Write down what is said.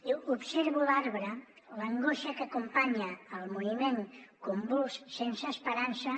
diu observo l’arbre l’angoixa que acompanya el moviment convuls sense esperança